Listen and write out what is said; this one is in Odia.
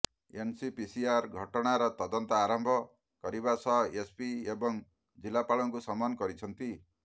ଏନସିପିସିଆର ଘଟଣାର ତଦନ୍ତ ଆରମ୍ଭ କରିବା ସହ ଏସପି ଏବଂ ଜିଲ୍ଲାପାଳଙ୍କୁ ସମନ କରିଛନ୍ତି